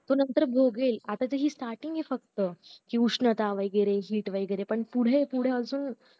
तो नंतर भोगेल आता त्याची starting फक्त हि उष्णता वैगेरे heat वैगेरे पण पुढे पुढे अजून